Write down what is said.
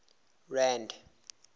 rand